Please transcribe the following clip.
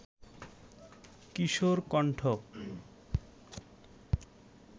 কিশোর কণ্ঠ